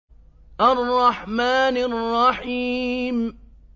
الرَّحْمَٰنِ الرَّحِيمِ